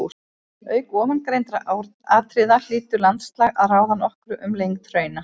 Auk ofangreindra atriða hlýtur landslag að ráða nokkru um lengd hrauna.